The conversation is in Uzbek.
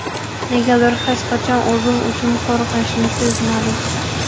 Negadir hech qachon o‘zim uchun qo‘rqinchni sezmadim.